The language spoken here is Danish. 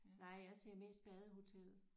Nej jeg ser mest Badehotellet